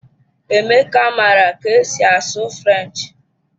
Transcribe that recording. Emeka maara ka esi asụ French.